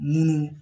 Munnu